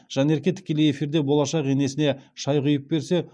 жанерке тікелей эфирде болашақ енесіне шай құйып берсе